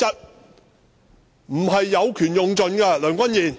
你不應有權用盡，梁君彥！